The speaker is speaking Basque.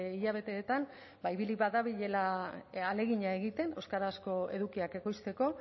hilabeteetan ba ibili badabilela ahalegina egiten euskarazko edukiak ekoizteko